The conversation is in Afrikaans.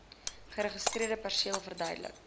geregistreerde perseel verbruik